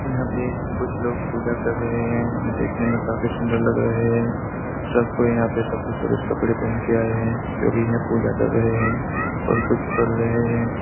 यहाँ पे कुछ लोग पूजा कर रहे है जो देखने में काफी सुंदर लग रहे है सब को यहाँ पे सब के सब सफेद कपड़े पहन के आए है जो की यह पूजा कर रहे है और कुछ पढ़ रहे है।